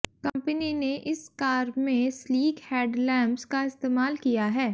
company ने इस car में स्लीक हेडलैम्प्स का इस्तेमाल किया है